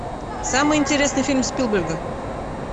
самый интересный фильм спилберга